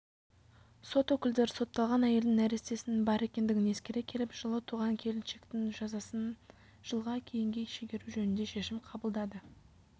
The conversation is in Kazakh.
сот өкілдері сотталған әйелдің нәрестесінің бар екендігін ескере келіп жылы туған келіншектің жазасын жылға кейінге шегеру жөнінде шешім қабылдады